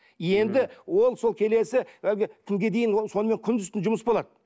енді ол сол келесі әлгі күнге дейін ол сонымен күндіз түні жұмыс болады